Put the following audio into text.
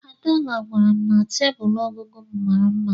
Adeola gwara m na tebụl ọgụgụ m mara mma.